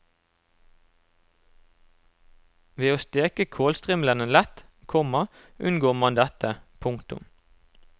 Ved å steke kålstrimlene lett, komma unngår man dette. punktum